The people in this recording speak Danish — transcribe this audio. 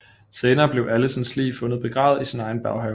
Senere bliver Alisons lig fundet begravet i sin egen baghave